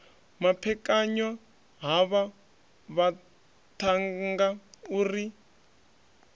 maphekanywa havha vhaṱhannga u ri